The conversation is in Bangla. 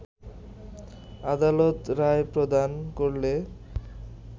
আদালত রায় প্রদান করলে